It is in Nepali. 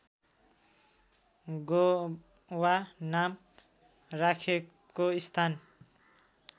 गोवा नाम राखेको स्थान